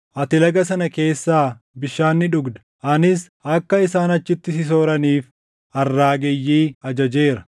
Ati Laga sana keessaa bishaan ni dhugda; anis akka isaan achitti si sooraniif arraageyyii ajajeera.”